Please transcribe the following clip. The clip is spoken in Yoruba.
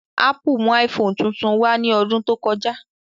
Ápù mú iPhone tuntun wá ní ọdún tó kọjá